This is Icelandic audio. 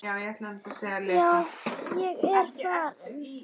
Já, ég er farinn.